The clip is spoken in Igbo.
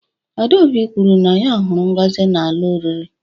adaobi kwuru na ya huru ngozi n'ala oriri